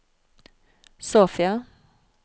Sofia